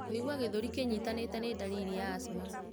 Kũigua gĩthũri kĩnyitanĩte nĩ ndariri ya asthma.